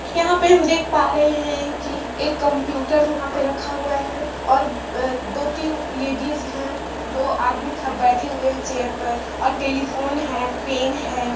यहां पर हम देख पा रहे है कि एक कंप्यूटर रखा हुआ हैऔर दो तीन लेडिज हे दो आदमी बैठे हुए है चेयर पर टेलिफोन है